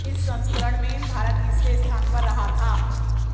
इस संस्करण में भारत तीसरे स्थान पर रहा था